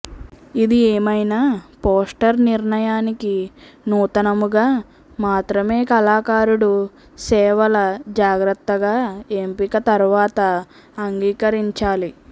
ఇది ఏమైనా పోస్టర్ నిర్ణయానికి నూతనముగా మాత్రమే కళాకారుడు సేవల జాగ్రత్తగా ఎంపిక తరువాత అంగీకరించాలి